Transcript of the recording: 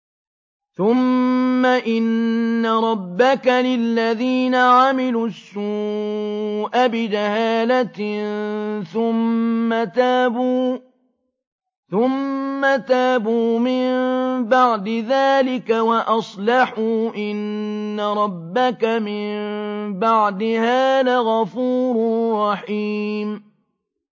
ثُمَّ إِنَّ رَبَّكَ لِلَّذِينَ عَمِلُوا السُّوءَ بِجَهَالَةٍ ثُمَّ تَابُوا مِن بَعْدِ ذَٰلِكَ وَأَصْلَحُوا إِنَّ رَبَّكَ مِن بَعْدِهَا لَغَفُورٌ رَّحِيمٌ